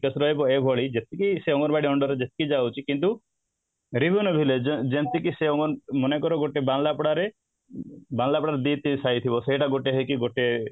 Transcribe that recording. GKS ରହିବ ଏଇଭଳି anganwadi under ରେ ଯେତିକି ଯାଉଛି କିନ୍ତୁ revenue village ଯେମିତି କି ସେ ମନେକର ଗୋଟେ ବାବାଉଁଳା ପଡା ରେ ବାଉଁଳା ପଡା ରେ ସେଇଟା ଗୋଟେ ହେଇକି ଗୋଟେ